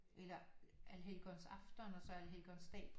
Eller Allhelgonsafton og så Allhelgons dag